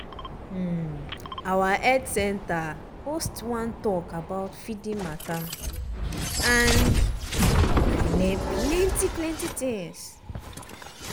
um our health center host one talk about feeding matter and i learn plenty plenty things